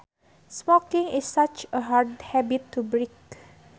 Smoking is such a hard habit to break